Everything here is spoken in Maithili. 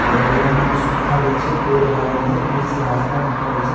और लाइनक सुविधा भी छै पोल गारल ये बीच से रास्ता निकलल छै।